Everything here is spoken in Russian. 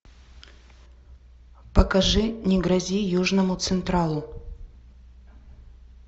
покажи не грози южному централу